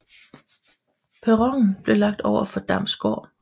Perronen blev lagt over for Damms Gård